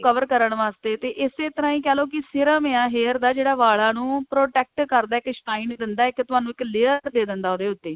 cover ਕਰਨ ਵਾਸਤੇ ਤੇ ਇਸੇ ਤਰ੍ਹਾਂ ਹੀ ਕਹਿਲੋ ਕੀ serum ਹੈ hair ਦਾ ਜਿਹੜੇ ਵਾਲਾਂ ਨੂੰ protect ਕਰਦਾ ਇੱਕ shine ਦਿੰਦਾ ਇੱਕ ਤੁਹਾਨੂੰ layer ਦੇ ਦਿੰਦਾ ਉਹਦੇ ਉੱਤੇ